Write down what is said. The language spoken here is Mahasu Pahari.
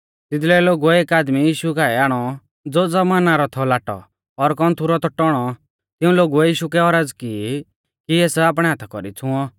तिदलै लोगुऐ एक आदमी यीशु काऐ आणौ ज़ो ज़बाना रौ थौ लाटौ और कौन्थु रौ थौ टौणौ तिऊं लोगुऐ यीशु कै औरज़ की कि एस आपणै हाथा कौरी छ़ुंऔ